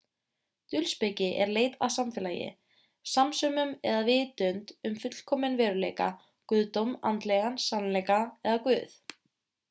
dulspeki er leit að samfélagi samsömun eða vitund um fullkominn veruleika guðdóm andlegan sannleika eða guð